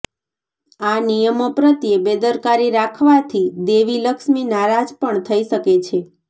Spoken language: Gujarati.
આ નિયમો પ્રત્યે બેદરકારી રાખવાથી દેવી લક્ષ્મી નારાજ પણ થઇ શકે છે